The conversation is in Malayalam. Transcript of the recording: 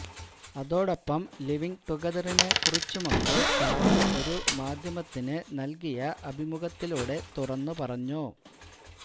അതോടൊപ്പം ലിവിങ് ടുഗദറിനെ കുറിച്ചുമൊക്കെ താരം ഒരു മാധ്യമത്തിന് നൽകിയ അഭിമുഖത്തിലൂടെ തുറന്ന് പറഞ്ഞു